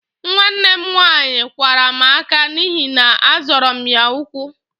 Nwanne m nwaanyị kwara m ákạ́ n'ihi na-azọra m ya ụkwụ